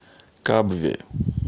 кабве